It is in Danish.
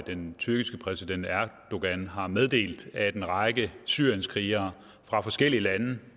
den tyrkiske præsident erdogan har meddelt at en række syrienskrigere fra forskellige lande